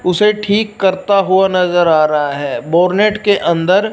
उसे ठीक करता हुआ नजर आ रहा है बोर्नेट के अंदर--